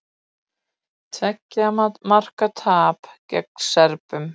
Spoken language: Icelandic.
Tveggja marka tap gegn Serbum